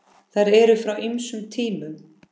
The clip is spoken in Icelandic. Þær eru frá ýmsum tímum.